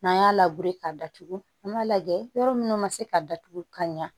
N'an y'a labe k'a datugu an b'a lajɛ yɔrɔ munnu ma se ka datugu ka ɲɛ